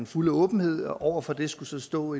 fuld åbenhed og over for det skal så stå